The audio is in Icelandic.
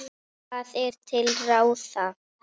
Hvað er til ráða